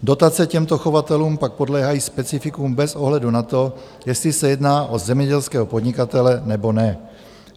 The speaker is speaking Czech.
Dotace těmto chovatelům pak podléhají specifikům bez ohledu na to, jestli se jedná o zemědělského podnikatele nebo ne.